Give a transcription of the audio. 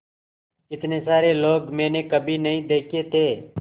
इतने सारे लोग मैंने कभी नहीं देखे थे